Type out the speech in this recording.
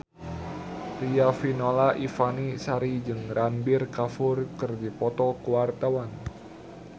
Riafinola Ifani Sari jeung Ranbir Kapoor keur dipoto ku wartawan